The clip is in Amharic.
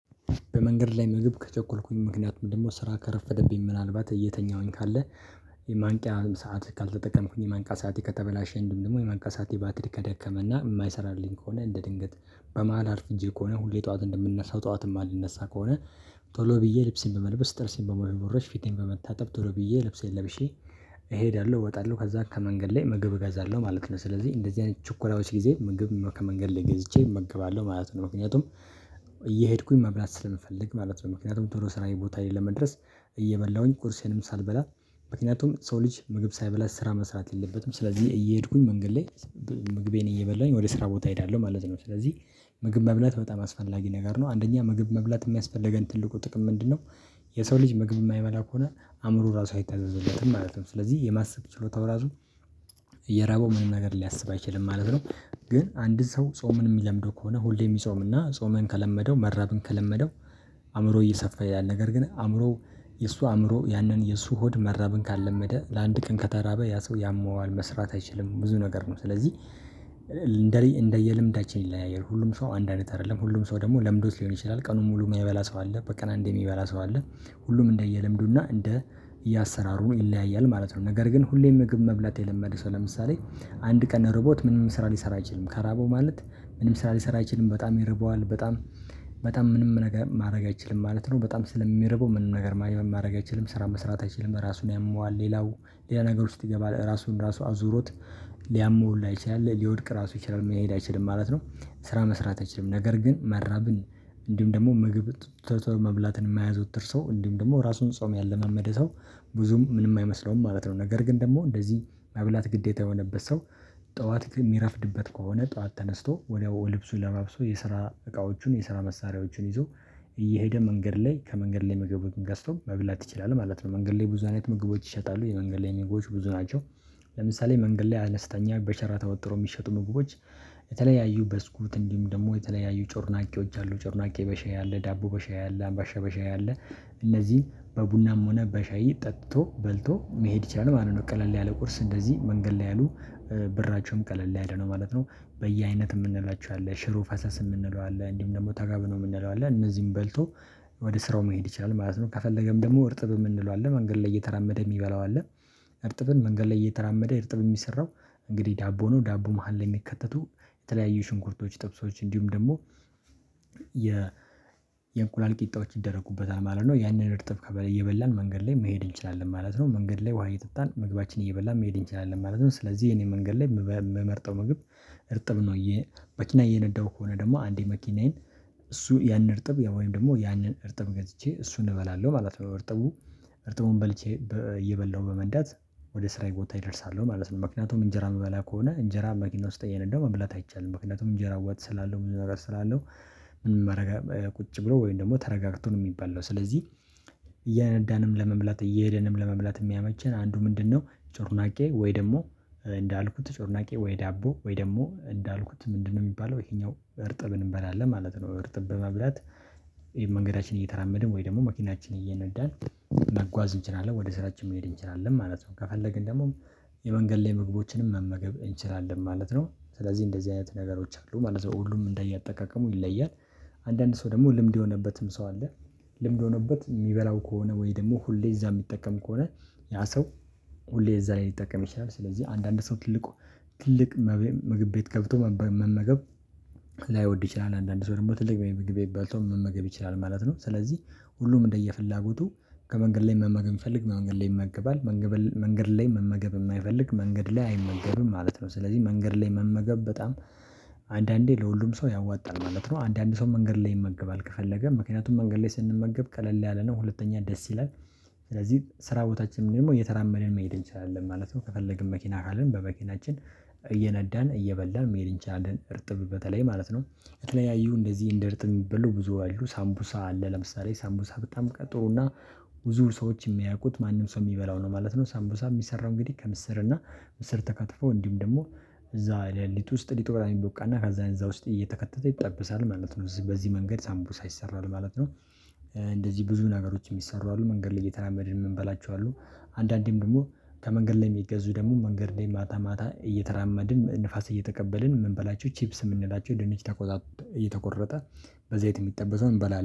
በመንገድ ላይ ምግብ ከቸኮልኩኝ ምክንያቱም ደግሞ ስራ ከረፈደብኝ ምናልባት እየተኛውኝ ካለ የማንቂያ ሰዓት ካልተጠቀምኩኝ የማንቂያ ሰዓቴ ከተበላሸ እንዲሁም ደግሞ የማንቂያ ሰዓቴ ባትሪ ከደከመ እና የማይሰራልኝ ከሆነ እንደ ድንገት በመሃል አርፍጄ ከሆነ ሁሌ ጠዋት እንደምነሳው ጠዋት ማልነሳ ከሆነ ቶሎ ብዬ ልብሴን በመልበስ ጥርሴን በመቦረሽ ፊቴን በመታጠብ ቶሎ ብዬ ልብሴን ለብሼ እሄዳለሁ እወጣለሁ ከዛ ከመንገድ ላይ ምግብ እገዛለሁ ማለት ነው። ስለዚህ እንደዚህ አይነት ችኮላዎች ጊዜ ምግብ ከመንገድ ላይ ገዝቼ እመገባለሁ ማለት ነው። ምክንያቱም እየሄድኩኝ መብላት ስፈልግ ማለት ነው። ምክንያቱም ቶሎ ስራዬ ቦታ ላይ ለመድረስ። እየበላሁኝ ቁርሴንም ሳልበላ ምክንያቱም ሰው ልጅ ምግብ ሳይበላ ስራ መስራት የለበትም። ስለዚህ እየሄድኩኝ መንገድ ላይ ምግቤን እየበላሁኝ ወደ ስራ ቦታ እሄዳለሁ ማለት ነው። ስለዚህ ምግብ መብላት በጣም አስፈላጊ ነገር ነው። አንደኛ ምግብ መብላት የሚያስፈልገን ትልቁ ጥቅም ምንድነው? የሰው ልጅ ምግብ የማይበላ ከሆነ አእምሮ ራሱ አይታዘዝለትም ማለት ነው። ስለዚህ የማሰብ ችሎታው ራሱ እየራበው ምንም ነገር ሊያስብ አይችልም ማለት ነው። ግን አንድ ሰው ጾምን የሚለምደው ከሆነ ሁሌ የሚጾም እና ጾምን ከለመደው መራብን ከለመደው። አእምሮ እየሰፋ ያለ ነገር ግን አእምሮ የእሱ አእምሮ ያንን የእሱ ሆድ መራብን ካልለመደ ለአንድ ቀን ከተራበ ያ ሰው ያመዋል መስራት አይችልም ብዙ ነገር ነው። ስለዚህ እንደየልምዳችን ይለያያል ሁሉም ሰው አንድ አይነት አይደለም ሁሉም ሰው ደግሞ ለምዶት ሊሆን ይችላል። ቀኑን ሙሉ የማይበላ ሰው አለ በቀን አንዴ የሚበላ ሰው አለ። ሁሉም እንደየለምዱ እና እንደ እየአሰራሩ ይለያያል ማለት ነው። ነገር ግን ሁሌም ምግብ መብላት የለመደ ሰው ለምሳሌ አንድ ቀን ሮቦት ምንም ስራ ሊሰራ አይችልም። ከራበው ማለት ምንም ስራ ሊሰራ አይችልም በጣም ይርበዋል በጣም ምንም ነገር ማድረግ አይችልም ማለት ነው። በጣም ስለሚርበው ምንም ነገር ማድረግ አይችልም ስራ መስራት አይችልም ራሱን ያመዋል። ሌላው ሌላ ነገር ውስጥ ይገባል ራሱን ራሱ አዙሮት ሊያመው ሁላ ይችላል ሊወድቅ ራሱ ይችላል መሄድ አይችልም ማለት ነው። ስራ መስራት አይችልም። ነገር ግን መራብን እንዲሁም ደግሞ ምግብ ቶሎ ቶሎ መብላትን የማያዘወትር ሰው እንዲሁም ደግሞ ራሱን ጾም ያለማመደ ሰው ብዙም ምንም አይመስለውም ማለት ነው። ነገር ግን ደግሞ እንደዚህ መብላት ግዴታ የሆነበት ሰው ጠዋት የሚረፍድበት ከሆነ ጠዋት ተነስቶ ወዲያው ልብሱ ለባብሶ የስራ እቃዎቹን የስራ መሳሪያዎቹን ይዞ። እየሄደ መንገድ ላይ ከመንገድ ላይ መግብ ገዝቶ መብላት ይችላል ማለት ነው። መንገድ ላይ ብዙ አይነት መግቦች ይሸጣሉ የመንገድ ላይ ምግቦች ብዙ ናቸው። ለምሳሌ መንገድ ላይ አነስተኛ በሸራ ተወጥሮ የሚሸጡ ምግቦች። የተለያዩ ብስኩት እንዲሁም ደግሞ የተለያዩ ጮርናቄዎች አሉ ጮርናቄ በሻይ አለ ዳቦ በሻይ አለ አምባሻ በሻይ አለ። እነዚህ በቡናም ሆነ በሻይ ጠጥቶ በልቶ መሄድ ይችላል ማለት ነው። ቀለል ያለ ቁርስ እንደዚህ መንገድ ላይ ያሉ ብራቸውም ቀለል ላይ ነው ማለት ነው። በየአይነት የምንላቸው አለ ሽሮ ፈሰስ የምንለው አለ እንዲሁም ደግሞ ተጋቢኖ የምንለው አለ እነዚህን በልቶ። ወደ ስራው መሄድ ይቻላል ማለት ነው ከፈለገም ደግሞ እርጥብ የምንለው አለ መንገድ ላይ እየተራመደ የሚበላው አለ። እርጥብን መንገድ ላይ እየተራመደ እርጥብ የሚሰራው እንግዲህ ዳቦ ነው ዳቦ መሃል ላይ የሚከተቱ የተለያዩ ሽንኩርቶች ጥብሶች እንዲሁም ደግሞ። የ እንቁላል ቂጣዎች ይደረጉበታል ማለት ነው ያንን እርጥብ እየበላን መንገድ ላይ መሄድ እንችላለን ማለት ነው። መንገድ ላይ ውሃ እየጠጣን ምግባችን እየበላን መሄድ እንችላለን ማለት ነው። ስለዚህ እኔ መንገድ ላይ የምመርጠው ምግብ እርጥብ ነው። እዬ መኪና እየነዳሁ ከሆነ ደግሞ አንዴ መኪናዬን እሱ ያንን እርጥብ ወይም ደግሞ ያንን እርጥብ ገዝቼ እሱን እበላለሁ ማለት ነው። እርጥቡን በልቼ እየበላሁ በመንዳት ወደ ስራዬ ቦታ እደርሳለሁ ማለት ነው። ምክንያቱም እንጀራ ምበላ ከሆነ እንጀራ መኪና ውስጥ እየነዳው መብላት አይቻልም ምክንያቱም እንጀራ ወጥ ስላለው ብዙ ነገር ስላለው። ቁጭ ብሎ ወይም ደግሞ ተረጋግቶ ነው የሚበላው ነው። ስለዚህ እየነዳንም ለመብላት እየሄደንም ለመብላት የሚያመቸን አንዱ ምንድነው? ጮርናቄ ወይ ደግሞ እንዳልኩት ጮርናቄ ወይ ዳቦ ወይ ደግሞ እንዳልኩት ምንድነው የሚባለው ይሄኛው እርጥብን እንበላለን ማለት ነው። እርጥብ በመብላት መንገዳችን እየተራመድን ወይ ደግሞ መኪናችን እየነዳን። መጓዝ እንችላለን ወደ ስራችን መሄድ እንችላለን ማለት ነው። ከፈለግን ደግሞ የመንገድ ላይ ምግቦችንም መመገብ እንችላለን ማለት ነው። ስለዚህ እንደዚህ አይነት ነገሮች አሉ ማለት ነው ሁሉም እንደየ አጠቃቀሙ ይለያል። አንዳንድ ሰው ደግሞ ልምድ የሆነበትም ሰው አለ። ልምድ ሆኖበት የሚበላው ከሆነ ወይ ደግሞ ሁሌ እዛ የሚጠቀም ከሆነ ያ ሰው ሁሌ እዛ ላይ ሊጠቀም ይችላል። ስለዚህ አንዳንድ ሰው ትልቅ ትልቅ መብ ምግብ ቤት ገብቶ መመገብ ላይወድ ይችላል። አንዳንድ ሰው ደግሞ ትልቅ ምግብ ቤት ገብቶ መመገብ ይችላል ማለት ነው። ስለዚህ ሁሉም እንደየፍላጎቱ ከመንገድ ላይ መመገብ ሚፈልግ መንገድ ላይ ይመገባል። መንገድ ላይ መመገብ የማይፈልግ መንገድ ላይ አይመገብም ማለት ነው። ስለዚህ መንገድ ላይ መመገብ በጣም አንዳንዴ ለሁሉም ሰው ያዋጣል ማለት ነው። አንዳንድ ሰው መንገድ ላይ ይመገባል ከፈለገ ምክንያቱም መንገድ ላይ ስንመገብ ቀለል ያለ ነው ሁለተኛ ደስ ይላል። ስለዚህ ስራ ቦታችንም ደግሞ እየተራመደን መሄድ እንችላለን ማለት ነው። ከፈለግን መኪና ካለን በመኪናችን እየነዳን እየበላን መሄድ እንችላለን እርጥብ በተለይ ማለት ነው። የተለያዩ እንደዚህ እንደ እርጥብ የሚበሉ ብዙ አሉ ሳምቡሳ አለ ለምሳሌ ሳምቡሳ በጣም ቀጥሩ እና ብዙ ሰዎች የሚያውቁት ማንም ሰው የሚበላው ነው ማለት ነው። ሳምቡሳ የሚሰራው እንግዲህ ከምስር እና ምስር ተከትፎ እንዲሁም ደግሞ እዛ ለሊጥ ውስጥ ሊጥ ምናምን ሚቦካ እና ከዛ እዛ ውስጥ እየተከተተ ይጠበሳል ማለት ነው። በዚህ መንገድ ሳምቡሳ ይሰራል ማለት ነው። እንደዚህ ብዙ ነገሮች የሚሰሩ አሉ መንገድ ላይ እየተራመድን የምንበላቸው አሉ። አንዳንዴም ደግሞ ከመንገድ ላይ የሚገዙ ደግሞ መንገድ ላይ ማታ ማታ እየተራመድን ንፋስ እየተቀበልን ምንበላቸው ቺፕስ የምንላቸው ድንች ተቆጣ እየተቆረጠ በዘይት የሚጠበሰውን እንበላለን